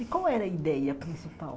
E qual era a ideia principal?